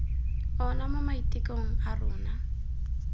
ona mo maitekong a rona